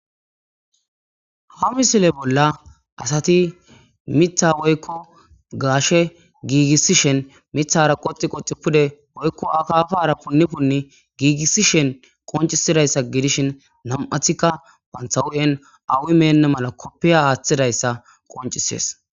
ha misile bolla asati mitha woykko gaashe giigissishen mithara qoxi qoti pude oykko akafara punni punni giigissishen qoncisidayssa gidishin nam7athikka banthawu7en awi menna mala koppiya aaththidayssa qoncisees